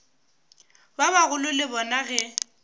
ba bagolo le bona ge